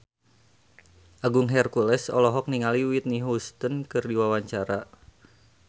Agung Hercules olohok ningali Whitney Houston keur diwawancara